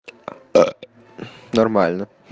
нормально